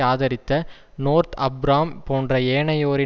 ஆதரித்த North Abram போன்ற ஏனையோரின்